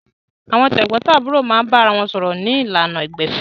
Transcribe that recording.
Àwọn tẹ̀gbọ́ntàbúrò máa ń bára wọn sọ̀rọ̀ ní ìlànà ìgbẹ̀fẹ́